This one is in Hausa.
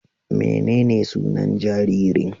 Menene sunan jaririn?